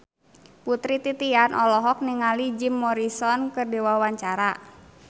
Putri Titian olohok ningali Jim Morrison keur diwawancara